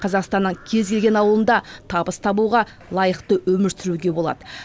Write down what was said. қазақстаннан кез келген ауылында табыс табуға лайықты өмір сүруге болады